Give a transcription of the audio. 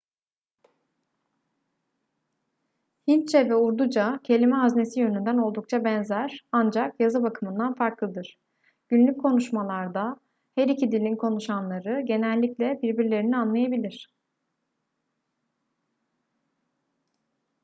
hintçe ve urduca kelime haznesi yönünden oldukça benzer ancak yazı bakımından farklıdır günlük konuşmalarda her iki dilin konuşanları genellikle birbirlerini anlayabilir